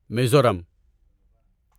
Mizoram